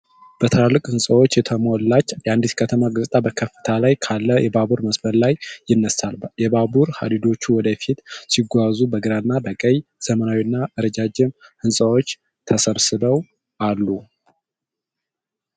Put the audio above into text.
በትላልቅ ህንጻዎች የተሞላች የአንድ ከተማ ገጽታ በከፍታ ላይ ካለ የባቡር መስመር ላይ ይነሳል። የባቡር ሐዲዶቹ ወደ ፊት ሲጓዙ በግራና በቀኝ ዘመናዊና ረጃጅም ህንፃዎች ተሰብስበው አለ።